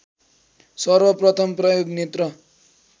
सर्वप्रथम प्रयोग नेत्र